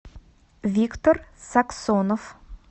виктор саксонов